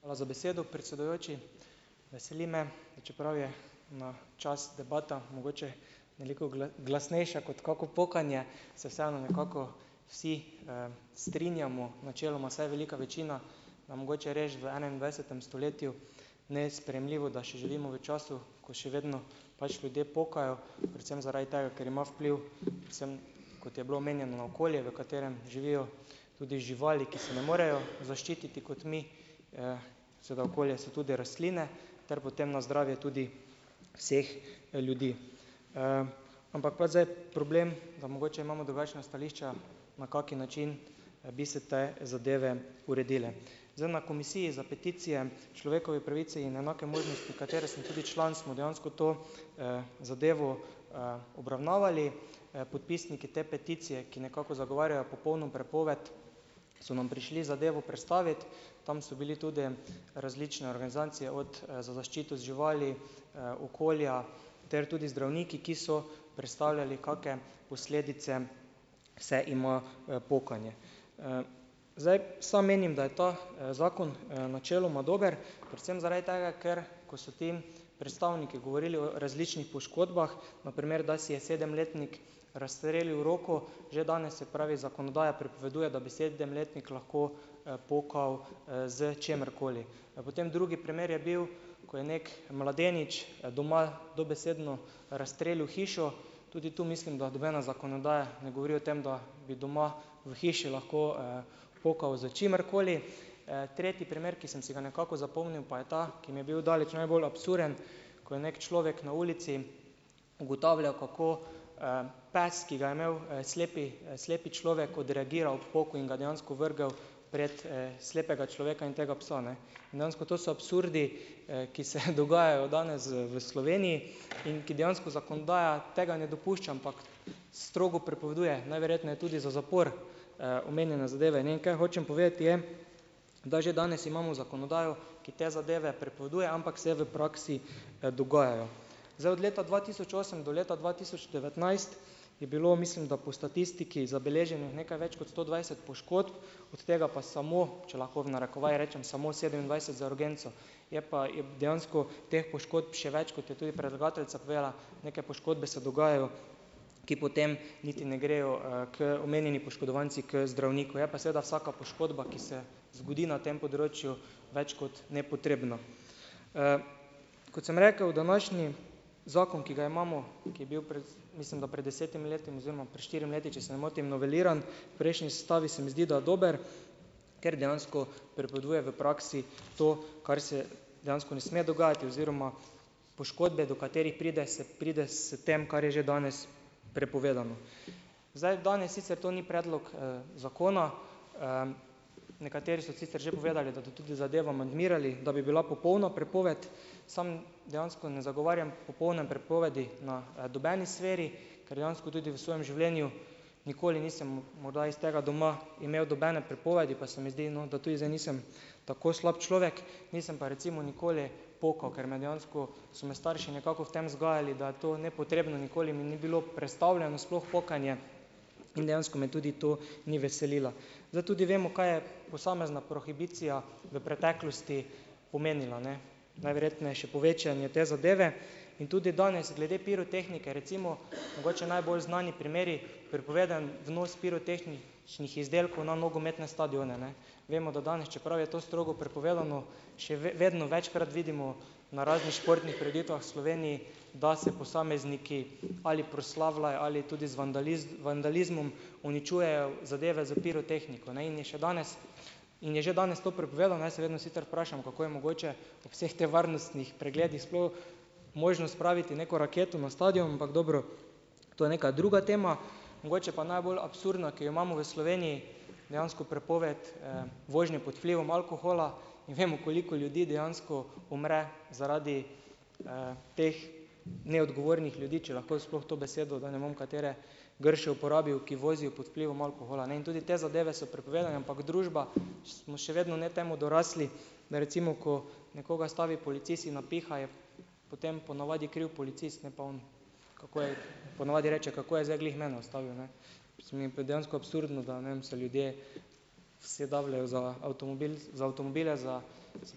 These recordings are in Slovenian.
Hvala za besedo, predsedujoči, veseli me, da čeprav je na čas debata mogoče veliko glasnejša kot kako pokanje, se vseeno nekako vsi, strinjamo načeloma vsaj velika večina, da mogoče res v enaindvajsetem stoletju nesprejemljivo, da še živimo v času, ko še vedno pač ljudje pokajo predvsem zaradi tega, ker ima vpliv predvsem, kot je bilo omenjeno na okolje, v katerem živijo tudi živali, ki se ne morejo zaščititi kot mi, seveda okolje so tudi rastline ter potem na zdravje tudi vseh ljudi, ampak pač zdaj problem, da mogoče imamo drugačna stališča na kak način bi se te zadeve uredile. Zdaj, na komisiji za peticije človekove pravice in enake možnosti, katere sem tudi član, smo dejansko to, zadevo, obravnavali, podpisniki te peticije, ki nekako zagovarjajo popolno prepoved, so nam prišli zadevo predstaviti, tam so bili tudi različne organizacije od za zaščito živali, okolja ter tudi zdravniki, ki so predstavljali kake posledice se ima pokanje, zdaj, sam menim, da je ta, zakon, načeloma dober predvsem zaradi tega, ker ko se ti predstavniki govorili o različnih poškodbah, na primer, da si je sedemletnik rastrelil roko, že danes, se pravi, zakonodaja prepoveduje, da bi sedemletnik lahko, pokal, s čimerkoli. Potem drugi primer je bil, ko je neki mladenič doma dobesedno razstrelil hišo, tudi tu, mislim, da nobena zakonodaja ne govori o tem, da bi doma v hiši lahko, pokal s čimerkoli, tretji primer, ki sem si ga nekako zapomnil, pa je ta, ki mi je bil daleč najbolj absurden, ko je neki človek na ulici ugotavljal, kako, pes, ki ga je imel slepi slepi človek, odreagiral ob poku in ga dejansko vrgel pred, slepega človeka in tega psa, ne, dejansko to so absurdi, ki se dogajajo danes v Sloveniji in ki dejansko zakonodaja tega ne dopušča, ampak strogo prepoveduje, najverjetneje tudi z zaporom, omenjene zadeve, ne vem, kaj hočem povedati je, da že danes imamo zakonodajo, ki te zadeve prepoveduje, ampak se v praksi, dogajajo. Zdaj od leta dva tisoč osem do leta dva tisoč devetnajst je bilo, mislim, da po statistiki zabeleženih nekaj več kot sto dvajset poškodb, od tega pa samo, če lahko v narekovajih rečem, samo sedemindvajset za urgenco, je pa je dejansko teh poškodb še več, kot je tudi predlagateljica povedala, neke poškodbe se dogajajo, ki potem niti ne grejo, k omenjeni poškodovanci k zdravniku, je pa seveda vsaka poškodba, ki se zgodi na tem področju več kot nepotrebna, kot sem rekev današnji zakon, ki ga imamo, ki je bil pred, mislim, da pred desetimi leti oziroma pred štirimi leti, če se ne motim, noveliran, prejšnji sestavi, se mi zdi, da je dober, ker dejansko prepoveduje v praksi to, kar se dejansko ne sme dogajati, oziroma poškodbe, do katerih pride, se pride s tem, kar je že danes prepovedano. Zdaj, danes sicer to ni predlog, zakona, nekateri so sicer že povedali, da to tudi zadevo amandmirali, da bi bila popolna prepoved, sam dejansko ne zagovarjam popolne prepovedi na nobeni sferi, ker dejansko tudi v svojem življenju, morda nikoli nisem morda iz tega doma, imel nobene prepovedi, pa se mi zdi, no, da tudi zdaj nisem tako slab človek, nisem pa recimo nikoli pokal ker me dejansko, smo se starši nekako v tem vzgajali, da je to nepotrebno, in nikoli mi ni bilo prestavljeno sploh pokanje in dejansko me tudi to ni veselilo. Zdaj, tudi vemo, kaj je posamezna prohibicija v preteklosti pomenila, ne, najverjetneje še povečanje te zadeve in tudi danes glede pirotehnike recimo mogoče najbolj znani primeri prepovedan vnos pirotehničnih izdelkov na nogometne stadione, ne, vemo, da danes, čeprav je to strogo prepovedano, še vedno večkrat vidimo na raznih športnih prireditvah v Sloveniji, da se posamezniki ali proslavlajo ali tudi z vandalizmom uničujejo zadeve s pirotehniko, ne, in je še danes in je že danes to prepovedano. Jaz se vedno sicer vprašam, kako je mogoče po vseh teh varnostnih pregledih sploh možno spraviti neko raketo na stadion, ampak dobro to je neka druga tema, mogoče pa najbolj absurdna, ki jo imamo v Sloveniji, dejansko prepoved, vožnje pod vplivom alkohola in vemo, koliko ljudi dejansko umre zaradi, teh neodgovornih ljudi, če lahko jaz sploh to besedo, da ne bom katere grše uporabil, ki vozijo pod vplivom alkohola, ne, in tudi te zadeve so prepovedane, ampak družba smo še vedno ne temu dorasli, ne, recimo ko nekoga ustavi policist in napiha, je potem ponavadi kriv policist, ne pa on, kako je ponavadi rečejo, kako je zdaj glih meni nastavil, ne, se mi pa dejansko absurdno da, ne vem, se ljudje vse dajejo za za avtomobile za, se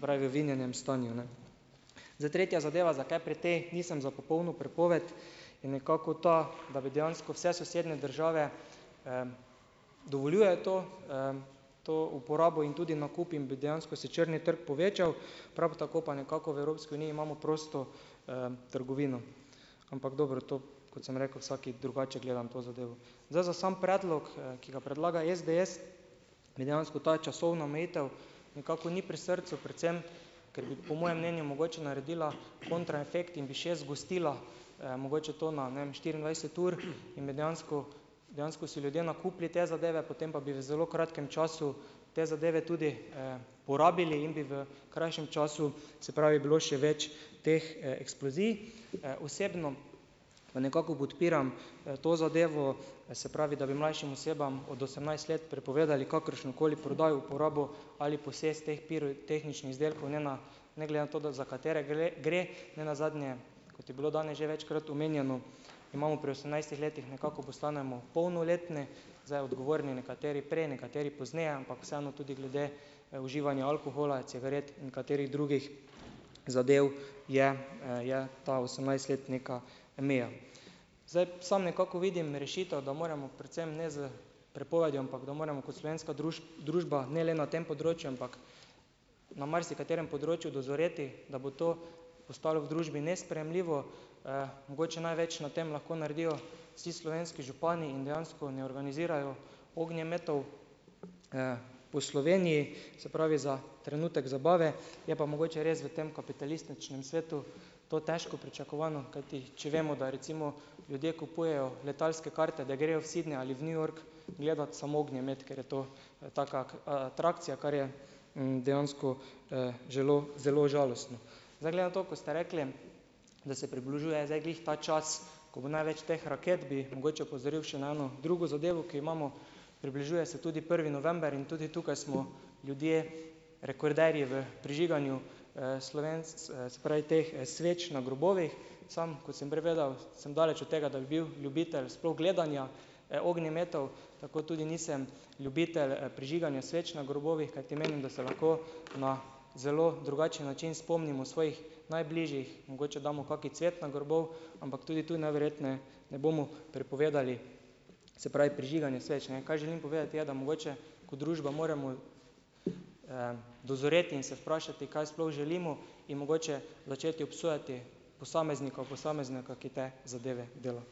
pravi, v vinjenem stanju, ne. Zdaj tretja zadeva, zakaj pri tej nisem za popolno prepoved, je nekako ta, da bi dejansko vse sosednje države, dovoljujejo to, to uporabo in tudi nakup in bi dejansko se črni trg povečal, prav tako pa nekako v Evropski uniji imamo prosto, trgovino, ampak dobro to, kot sem rekel, vsak drugače gleda na to zadevo. Zdaj, za samo predlog, ki ga predlaga SDS, mi dejansko ta časovna omejitev nekako ni pri srcu, predvsem ker bi po mojem mnenju mogoče naredila kontra efekt in bi še zgostila, mogoče to na, ne em, štiriindvajset ur in bi dejansko dejansko si ljudje nakupili te zadeve, potem pa bi v zelo kratkem času te zadeve tudi, porabili in bi v krajšem času, se pravi, bilo še več teh eksplozij, osebno pa nekako podpiram, to zadevo se pravi, da bi mlajšim osebam od osemnajst let prepovedali kakršno koli prodajo uporabo ali posest teh pirotehničnih izdelkov, ne, na ne glede na to za katere gre nenazadnje, kot je bilo danes že večkrat omenjeno, imamo pri osemnajstih letih nekako postanemo polnoletni, zdaj, odgovorni nekateri prej nekateri pozneje, ampak vseeno tudi glede uživanja alkohola cigaret in katerih drugih zadev je, je ta osemnajstletnika meja, zdaj, sam nekako vidim rešitev, da moremo predvsem ne s prepovedjo, ampak da moremo kot slovenska družba ne le na tem področju, ampak na marsikaterem področju dozoreti, da bo to postalo v družbi nesprejemljivo, mogoče največ na tem lahko naredijo vsi slovenski župani in dejansko ne organizirajo ognjemetov, po Sloveniji, se pravi, za trenutek zabave je pa mogoče res v tem kapitalističnem svetu to težko pričakovano, kajti če vemo, da recimo ljudje kupujejo letalske karte, da grejo v Sidney ali v New York gledat samo ognjemet, ker je to taka kot atrakcija, kar je, dejansko, zelo zelo žalostno, zdaj, glede na to, ko ste rekli, da se približuje zdaj glih ta čas, ko bo največ teh raket, bi mogoče opozoril še na eno drugo zadevo, ki jo imamo, približuje se tudi prvi november in tudi tukaj smo ljudje rekorderji v prižiganju, se pravi, teh sveč na grobovih sam kot sem prej vedel, sem daleč od tega, da bi bil ljubitelj sploh gledanja, ognjemetov tako tudi nisem ljubitelj prižiganja sveč na grobovih, kajti menim da se lahko na zelo drugačen način spomnimo svojih najbližjih, mogoče damo kaki cvet na grobove, ampak tudi tu najverjetneje ne bomo prepovedali, se pravi, prižiganje sveč, ne, kaj želim povedati je, da mogoče ko družba moremo, dozoreti in se vprašati, kaj sploh želimo in mogoče začeti obsojati posameznikov posameznika, ki te zadeve dela.